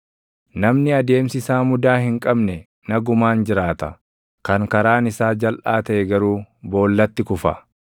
Namni adeemsi isaa mudaa hin qabne nagumaan jiraata; kan karaan isaa jalʼaa taʼe garuu boollatti kufa.